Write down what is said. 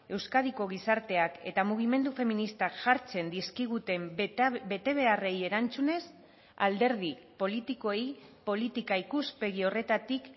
euskadiko gizarteak eta mugimendu feministak jartzen dizkiguten betebeharrei erantzunez alderdi politikoei politika ikuspegi horretatik